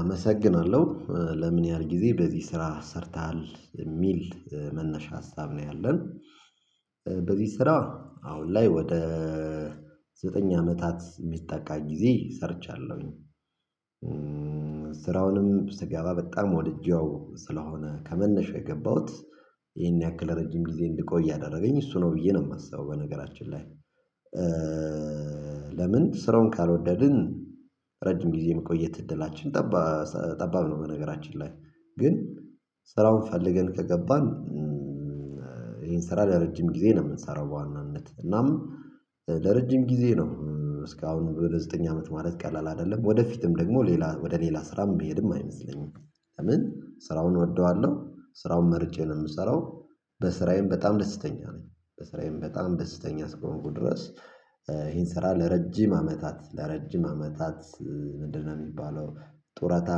አመሰግናለሁ ለምን ያህል ጊዜ በዚህ ስራ ሰርተሃል የሚል መነሻ ሀሳብ ነው ያለን። በዚህ ስራ አሁን ላይ ወደ ዘጠኝ አመታት የሚጠጋ ጊዜ ሰርቻለሁኝ። ስራውንም ስገባ በጣም ወድጄው ስለሆነ ከመነሻው የገባሁት ይሄን ያክል ረጅም ጊዜ እንድቆይ ያደረገኝ እሱ ነው ብዬ ነው የማስበው በነገራችን ላይ። ለምን ስራውን ካልወደድን ረጅም ጊዜ የመቆየት እድላችን ጠባ ጠባብ ነው። በነገራችን ላይ ግን ስራውን ፈልገን ከገባን። ይሄን ስራ ለረጅም ጊዜ ነው የምንሰራው በዋናነት እናም። ለረጅም ጊዜ ነው እስካሁን ወደ ዘጠኝ አመት ማለት ቀላል አይደለም ወደፊትም ደግሞ ሌላ ወደ ሌላ ስራም ምሄድም አይመስለኝም። ለምን ስራውን እወደዋለሁ ስራውን መርጬ ነው የምሰራው በስራዬም በጣም ደስተኛ ነኝ በስራዬም በጣም ደስተኛ አስከሆንኩ ድረስ። ይሄን ስራ ለረጅም አመታት ለረጅም አመታት ምንድነው የሚባለው? ጡረታ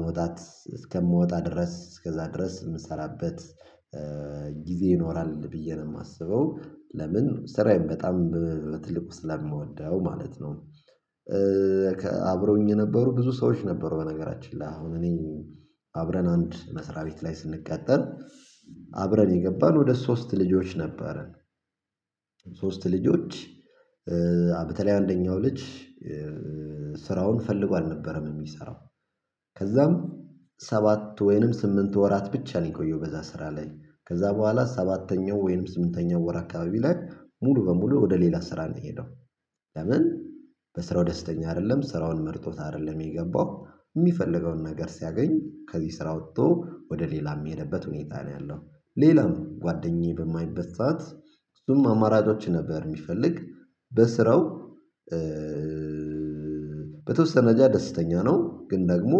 መውጣት እስከምወጣ ድረስ እስከዛ ድረስ የምሰራበት። ጊዜ ይኖራል ብዬ ነው የማስበው ለምን ስራዬን በጣም በትልቁ ስለምወደው ማለት ነው። አብረውኝ የነበሩ ብዙ ሰዎች ነበሩ በነገራችን ላይ አሁን እኔን አብረን አንድ መስሪያ ቤት ላይ ስንቀጠር አብረን የገባን ወደ ሶስት ልጆች ነበረን። ሶስት ልጆች በተለይ አንደኛው ልጅ ስራውን ፈልጎ አልነበረም የሚሰራው። ከዛም ሰባት ወይንም ስምንት ወራት ብቻ ነው የቆየው በዛ ስራ ላይ ከዛ በኋላ ሰባተኛው ወይም ስምንተኛው ወር አካባቢ ላይ ሙሉ በሙሉ ወደ ሌላ ስራ ነው የሄደው። ለምን? በስራው ደስተኛ አይደለም ስራውን መርጦት አይደለም የገባው የሚፈልገውን ነገር ሲያገኝ ከዚህ ስራ ወጥቶ ወደ ሌላ የሄድበት ሁኔታ ነው ያለው። ሌላም ጓደኛዬ በማይበት። እሱም አማራጮችን ነበር የሚፈልግ። በስራው በተወሰነ ጃ ደስተኛ ነው። ግን ደግሞ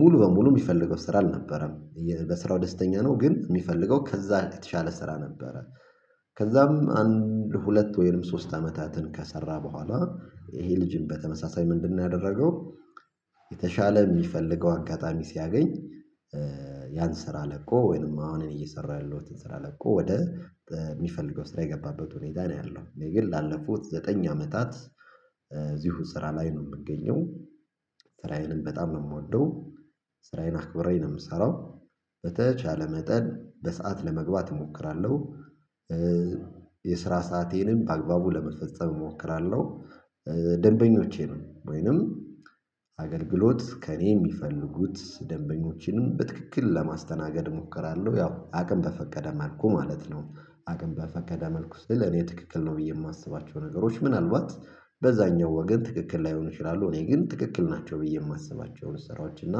ሙሉ በሙሉ የሚፈልገው ስራ አልነበረም በስራው ደስተኛ ነው ግን የሚፈልገው ከዛ የተሻለ ስራ ነበረ። ከዛም አንድ ሁለት ወይንም ሶስት አመታትን ከሰራ በኋላ ይሄ ልጅም በተመሳሳይ ምንድነው ያደረገው? የተሻለ የሚፈልገው አጋጣሚ ሲያገኝ። ያን ስራ ለቆ ወይንም አሁን አኔ እየሰራሁትን ስራ ለቆ ወደ የሚፈልገው ስራ የገባበት ሁኔታ ነው ያለው። እኔ ግን ላለፉት ዘጠኝ አመታት እዚሁ ስራ ላይ ነው የምገኘው። ስራዬንም በጣም ነው የምወደው። ስራዬን አክብሬ ነው የምሰራው። በተቻለ መጠን በሰአት ለመግባት እሞክራለሁ። የስራ ሰአቴንም በአግባቡ ለመፈጸም እሞክራለሁ። ደንበኞቼንም ወይንም አገልግሎት ከእኔ የሚፈልጉት ደንበኞቼንም በትክክል ለማስተናገድ እሞክራለሁ ያው አቅም በፈቀደ መልኩ ማለት ነው። አቅም በፈቀደ መልኩ ስል እኔ ትክክል ነው ብዬ የማስባቸው ነገሮች ምናልባት በዛኛው ወገን ትክክል ላይሆን ይችላሉ እኔ ግን ትክክል ናቸው ብዬ የማስባቸውን ስራዎች እና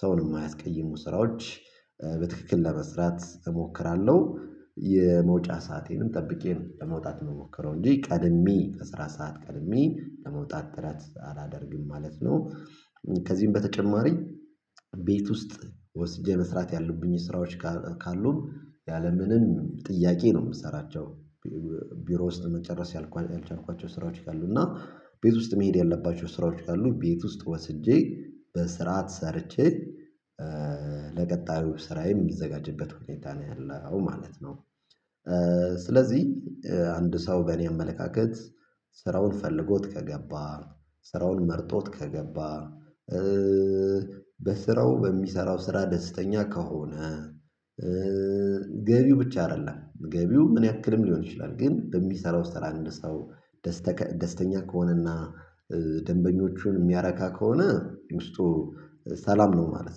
ሰውን የማያስቀይሙ ስራዎች። በትክክል ለመስራት እሞክራለሁ የመውጫ ሰአቴንም ጠብቄ ነው ለመውጣት የምሞክረው እንጂ ቀድሜ ከስራ ሰዓት ቀድሜ ለመውጣት ጥረት አላደርግም ማለት ነው። ከዚህም በተጨማሪ ቤት ውስጥ ወስጄ መስራት ያሉብኝ ስራዎች ካሉ ያለምንም ጥያቄ ነው የምሰራቸው። ቢሮ ውስጥ መጨረስ ያልቻልኳቸው ስራዎች ካሉ እና ቤት ውስጥ መሄድ ያለባቸው ስራዎች ካሉ ቤት ውስጥ ወስጄ በስርዓት ሰርቼ። ለቀጣዩ ስራዬም የምዘጋጅበት ሁኔታ ነው ያለው ማለት ነው። ስለዚህ አንድ ሰው በእኔ አመለካከት ስራውን ፈልጎት ከገባ ስራውን መርጦት ከገባ። በስራው በሚሰራው ስራ ደስተኛ ከሆነ። ገቢው ብቻ አይደለም ገቢው ምን ያክልም ሊሆን ይችላል ግን በሚሰራው ስራ አንድ ሰው ደስተኛ ከሆነና ደንበኞችን የሚያረካ ከሆነ ውስጡ ሰላም ነው ማለት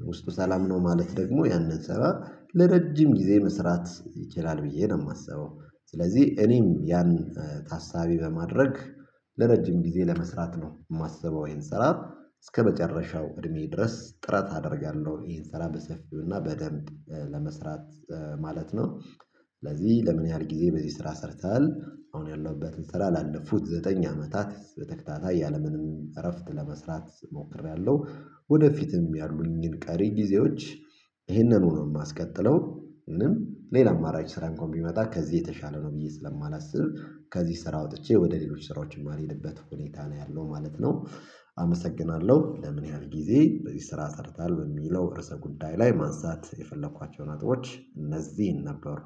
ነው። ውስጡ ሰላም ነው ማለት ደግሞ ያንን ስራ ለረጅም ጊዜ መስራት ይችላል ብዬ ነው የማስበው። ስለዚህ እኔም ያን ታሳቢ በማድረግ ለረጅም ጊዜ ለመስራት ነው የማስበው። ይሄን ስራ እስከመጨረሻው እድሜ ድረስ ጥረት አደርጋለሁ። ይሄን ስራ በሰፊው እና በደንብ ለመስራት ማለት ነው። ስለዚህ ለምን ያህል ጊዜ በዚህ ስራ ሰርተሃል? አሁን ያለሁበትን ስራ ላለፉት ዘጠኝ አመታት በተከታታይ ያለምንም እረፍት ለመስራት ሞክሬያለሁ። ወደፊትም ያሉኝን ቀሪ ጊዜዎች። ይህንኑ ነው የማስቀጥለው። ወይንም ሌላ አማራጭ ስራ እንኳን ቢመጣ ከዚህ የተሻለ ነው ብዬ ስለማላስብ ከዚህ ስራ ወጥቼ ወደ ሌሎች ስራዎች የማልሄድበት ሁኔታ ነው ያለው ማለት ነው። አመሰግናለሁ ለምን ያህል ጊዜ በዚህ ስራ ሰርተሀል በሚለው እርሰ ጉዳይ ላይ ማንሳት የፈለኳቸውን ነጥቦች እነዚህን ነበሩ